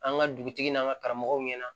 An ka dugutigi n'an ka karamɔgɔw ɲɛna